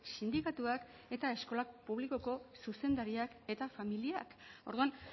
sindikatuak eta eskola publikoko zuzendariak eta familiak orduan